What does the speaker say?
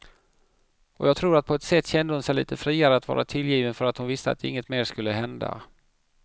Och jag tror att på ett sätt kände hon sig lite friare att vara tillgiven för att hon visste att inget mer skulle hända.